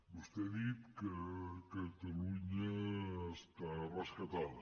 vostè ha dit que catalunya està rescatada